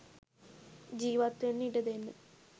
ජීවත්වෙන්න ඉඩදෙන්න